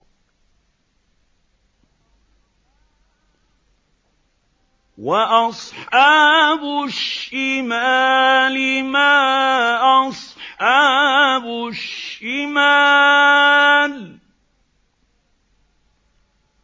وَأَصْحَابُ الشِّمَالِ مَا أَصْحَابُ الشِّمَالِ